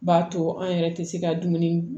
B'a to an yɛrɛ tɛ se ka dumuni